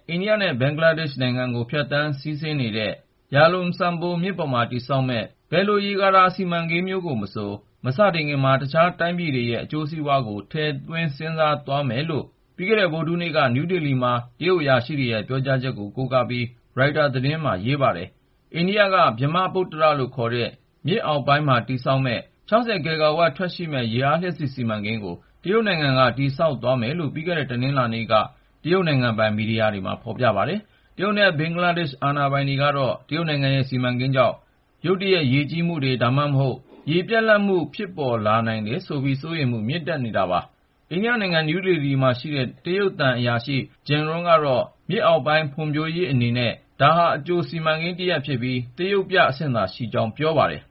အိန္ဒိယနဲ့ဘင်္ဂလားဒေ့ရှ်နိုင်ငံကို ဖြတ်သန်းစီးဆင်းနေတဲ့ ဗြဟ္မပုတ္တရရဲ့ မြစ်ညာ Yarlung Tsangbo မြစ်ပေါ်မှာ တရုတ်နိုင်ငံက တည်ဆောက်မယ့် ဘယ်လို ဆည်မြောင်းတာတမံ စီမံကိန်းမျိုးမဆို မစတင်ခင်မှာ တခြားတိုင်းပြည်တွေရဲ့ အကျိုးစီးပွားကို ထည့်သွင်းစဉ်းစားသွားမယ်လို့ ပြီးခဲ့တဲ့ ဗုဒ္ဓဟူးနေ့က နယူးဒေလီမြို့မှာ တရုတ်အရာရှိတွေရဲ့ပြောကြားချက်ကို ကိုးကားပြီး ရိုက်တာသတင်းမှာ ဖော်ပြထားပါတယ်။ အိန္ဒိယက ဗြဟ္မပုတ္တရလို့ခေါ်တဲ့ အထက်ပိုင်းမှာ တည်ဆောက်မယ့် ၆၀ ဂစ်ဂါဝပ် ထွက်ရှိမယ့် ရေအားလျှပ်စစ်စီမံကိန်းကို တရုတ်နိုင်ငံက တည်ဆောက်သွားမယ်လို့ ပြီးခဲ့တဲ့ တနင်္လာနေက တရုတ်နိုင်ငံပိုင် မီဒီယာတွေမှာ ဖော်ပြထားပါတယ်။ တရုတ်နဲ့ဘင်္ဂလားဒေ့ရှ်အာဏာပိုင်တွေကတော့ တရုတ်နိုင်ငံရဲ့ ဒီစီမံကိန်းကြောင့် ရုတ်တရက် ရေကြီးမှုတွေ၊ ဒါမှမဟုတ် ရေပြတ်လပ်မှုတွေ ဖြစ်ပေါ်လာနိုင်တယ်ဆိုပြီး စိုးရိမ်မှုတွေ မြင့်တက်လာနေတာပါ။ အိန္ဒိယနိုင်ငံ နယူးဒေလီမှာရှိတဲ့ တရုတ်သံအရာရှိ Ji Rong ကတော့ မြစ်အောက်ပိုင်းဖွံ့ဖြိူးရေးတရပ်အနေနဲ့ဒါဟာ အကြို စီမံကိန်းတရပ်ဖြစ်ပြီး သရုပ်ပြအဆင့်သာ ရှိသေးကြောင်း ပြောပါတယ်။